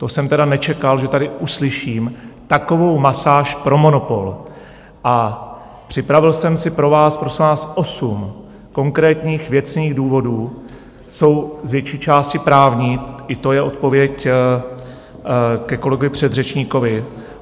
To jsem tedy nečekal, že tady uslyším takovou masáž pro monopol, a připravil jsem si pro vás, prosím vás, osm konkrétních věcných důvodů, jsou z větší části právní, i to je odpověď ke kolegovi předřečníkovi.